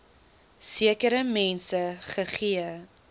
sekere mense gegee